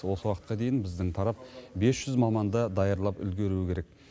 осы уақытқа дейін біздің тарап бес жүз маманды даярлап үлгеруі керек